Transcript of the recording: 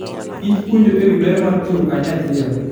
kich puonjo e wi ber mar tiyo kanyachiel.